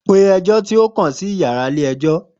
Pe ẹjọ ti o tẹle si yara ile-ẹjọ!